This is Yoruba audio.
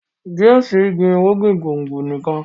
James gbin irúgbìn gbòngbò nìkàn.